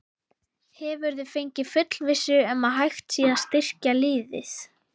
Hefurðu fengið fullvissu um að hægt sé að styrkja liðið?